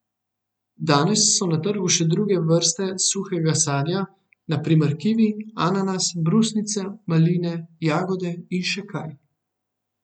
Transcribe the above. Danes so na trgu še druge vrste suhega sadja, na primer kivi, ananas, brusnice, maline, jagode in še kaj.